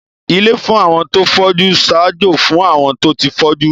Ilé fún àwọn tó fọ́jú ń ṣaájó fún àwọn tó ti fọ́jú